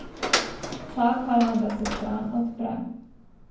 Čakala, da se stran odpre.